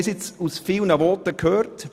Wir haben es nun vielen Voten entnommen: